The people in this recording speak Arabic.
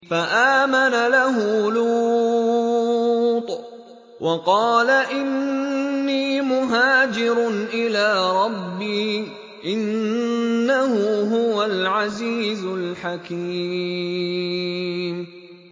۞ فَآمَنَ لَهُ لُوطٌ ۘ وَقَالَ إِنِّي مُهَاجِرٌ إِلَىٰ رَبِّي ۖ إِنَّهُ هُوَ الْعَزِيزُ الْحَكِيمُ